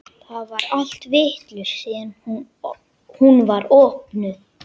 Það er allt vitlaust síðan hún var opnuð.